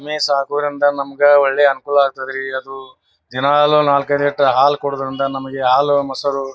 ಎಮ್ಮೆ ಸಾಕೋದ್ರಿಂದ ನಮಗೆ ಒಳ್ಳೆ ಅನುಕೂಲ ಆಕ್ತದ ರೀ ಅದು ದಿನಾಲೂ ನಾಲ್ಕ್ ಐದು ಲೀಟರ್ ಹಾಲು ಕೊಡುವುದರಿಂದ ನಮಗೆ ಹಾಲು ಮೊಸರು--